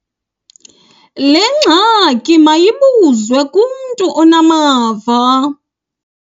Le ngxaki mayibuzwe kumntu onamava.